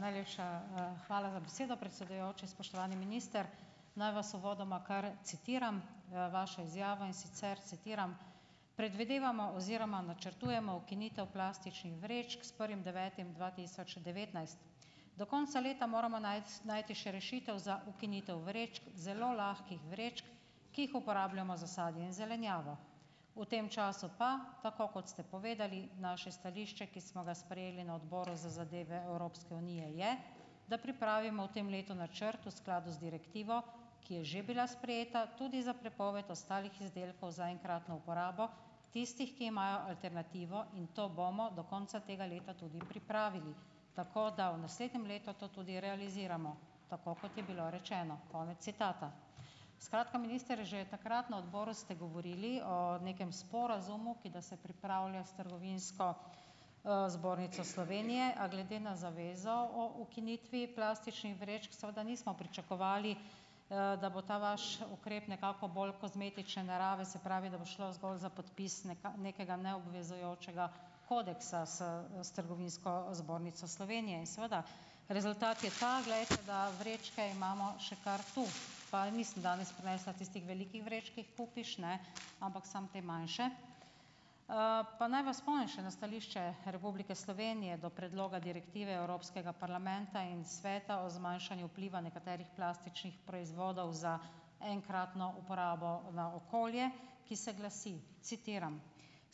Najlepša, hvala za besedo, predsedujoči. Spoštovani minister. Naj vas uvodoma kar citiram, vaš izjava, in sicer citiram: "Predvidevamo oziroma načrtujemo ukinitev plastičnih vrečk s prvim devetim dva tisoč devetnajst. Do konca leta moramo najti še rešitev za ukinitev vrečk, zelo lahkih vrečk, ki jih uporabljamo za sadje in zelenjavo. V tem času pa, tako kot ste povedali, naše stališče, ki smo ga sprejeli na Odboru za zadeve Evropske unije, je, da pripravimo v tem letu načrt v skladu z direktivo, ki je že bila sprejeta, tudi za prepoved ostalih izdelkov za enkratno uporabo, tistih, ki imajo alternativo, in to bomo do konca tega leta tudi pripravili, tako da v naslednjem letu to tudi realiziramo, tako kot je bilo rečeno." Konec citata. Skratka, minister, že takrat na odboru ste govorili o nekem sporazumu, ki da se pripravlja s Trgovinsko, zbornico Slovenije, a glede na zavezo o ukinitvi plastičnih vrečk seveda nismo pričakovali, da bo ta vaš ukrep nekako bolj kozmetične narave, se pravi, da bo šlo zgolj za podpis nekega neobvezujočega kodeksa s s Trgovinsko zbornico Slovenije. Seveda rezultat je ta, glejte, da vrečke imamo še kar tu, pa nisem danes prinesla tistih velikih vreč, ki jih kupiš, ne, ampak samo te manjše. Pa naj vas spomnim še na stališče Republike Slovenije do predloga direktive Evropskega parlamenta in sveta o zmanjšanju vpliva nekaterih plastičnih proizvodov za enkratno uporabo na okolje, ki se glasi, citiram: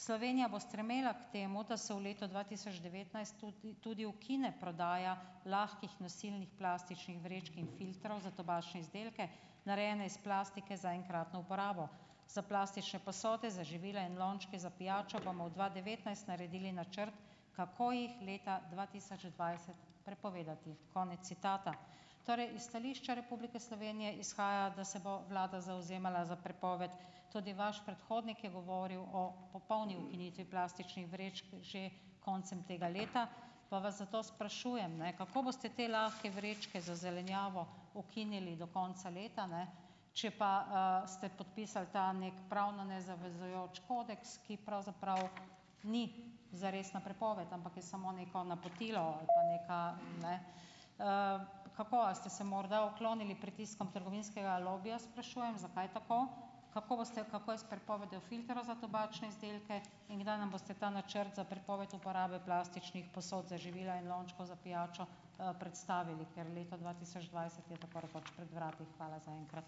"Slovenija bo stremela k temu, da se v letu dva tisoč devetnajst tudi tudi ukine prodaja lahkih nosilnih plastičnih vrečk in filtrov za tobačne izdelke, narejene iz plastike za enkratno uporabo. Za plastične posode, za živila in lončke za pijačo bomo v dva devetnajst naredili načrt, kako jih leta dva tisoč dvajset prepovedati." Konec citata. Torej iz stališča Republike Slovenije izhaja, da se bo vlada zavzemala za prepoved, tudi vaš predhodnik je govoril o popolni ukinitvi plastičnih vrečk že koncem tega leta, pa vas zato sprašujem, ne, kako boste te lahke vrečke za zelenjavo ukinili do konca leta, ne, če pa, ste podpisali ta neki pravno nezavezujoč kodeks, ki pravzaprav ni zaresna prepoved, ampak je samo neko napotilo, ali pa nekaj, ne? Kako, a ste se morda uklonili pritiskom trgovinskega lobija, sprašujem, zakaj tako? Kako boste, kako je s prepovedjo filtrov za tobačne izdelke in kdaj nam boste ta načrt za prepoved uporabe plastičnih posod za živila in lončkov za pijačo, predstavili, ker leto dva tisoč dvajset je tako rekoč pred vrati. Hvala zaenkrat.